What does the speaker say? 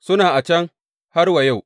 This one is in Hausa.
Suna nan a can har wa yau.